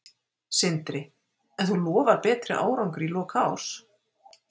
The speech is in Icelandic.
Sindri: En þú lofar betri árangri í lok árs?